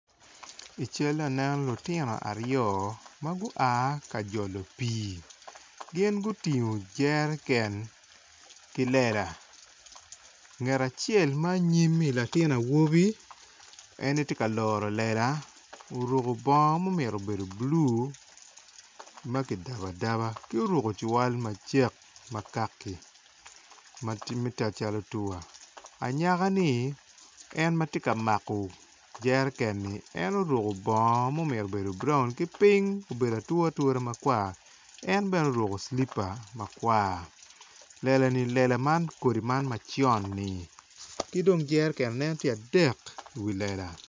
I cali eni atye ka neno lutino aryo magua kajolo pi gin gutingo jereken ki lela ngat acel ma nyimi latin awobi en tye ka loro lela oruko bongo ma omyero obedo blu makidabo adaba ki oruko cirwal macek makaki matye cal tuwa. Anyaka ni en matye ka mako jerekeni en oruko bongo ma omyero obed broun ki ping obedo ature ature makwar en bene oruko slipa makwar lela ni kodi lela man maconi ki dong jereken nen tye adek i lela.